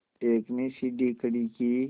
एक ने सीढ़ी खड़ी की